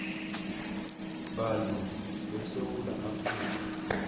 bantu besewula afrika